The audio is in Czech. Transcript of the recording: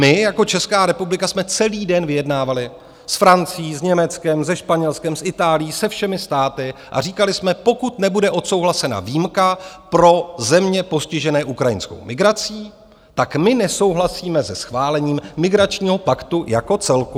My jako Česká republika jsme celý den vyjednávali s Francií, s Německem, se Španělskem, s Itálií, se všemi státy a říkali jsme: pokud nebude odsouhlasena výjimka pro země postižené ukrajinskou migrací, tak my nesouhlasíme se schválením migračního paktu jako celku.